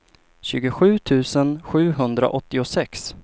tjugosju tusen sjuhundraåttiosex